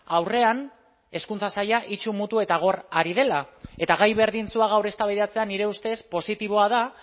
aurrean hezkuntza saila itsu mutu eta gor ari dela eta gai berdintsua gaur eztabaidatzea nire ustez positiboa da